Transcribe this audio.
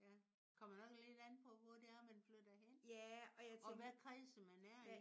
Kommer nok lidt an på hvor det er man flytter hen. Og hvad kredse man er i